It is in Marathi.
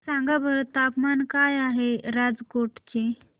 सांगा बरं तापमान काय आहे राजकोट चे